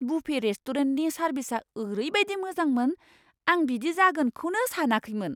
Buffet रेस्टुरेन्टनि सारभिसआ ओरैबायदि मोजांमोन, आं बिदि जागोनखौनो सानाखैमोन!